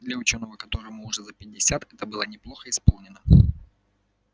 для учёного которому уже за пятьдесят это было неплохо исполнено